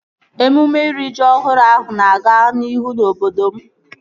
Emume iri ji ọhụrụ ahụ na-aga n'ihu na obodo m